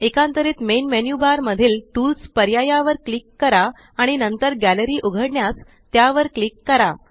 एकांतरीत main menu bar मधील tools पर्याया वर क्लिक करा आणि नंतर गॅलरी उघडण्यास त्यावर क्लिक करा